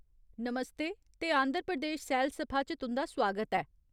नमस्ते ते आंध्र प्रदेश सैलसफा च तुं'दा सुआगत ऐ।